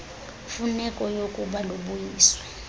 mfuneko yookuba lubuyiswe